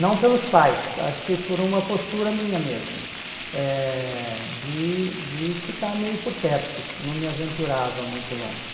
Não pelos pais, acho que por uma postura minha mesmo, eh de de ficar meio por perto, não me aventurava muito longe.